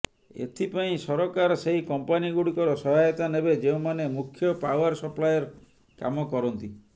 ଏଥିପାଇଁ ସରକାର ସେହି କମ୍ପାନୀଗୁଡ଼ିକର ସହାୟତା ନେବେ ଯେଉଁମାନେ ମୁଖ୍ୟ ପାଓ୍ବାର ସପ୍ଲାଏର କାମ କରନ୍ତି